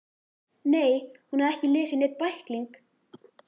Nei, hún hafði ekki lesið neinn bækling.